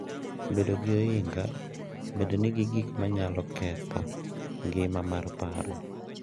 Bedo gi ohinga bende nigi gik ma nyalo ketho ngima mar paro.